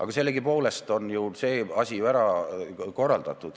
Aga sellegipoolest on see asi ära korraldatud.